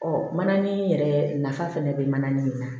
manaani yɛrɛ nafa fana bɛ mana ni min na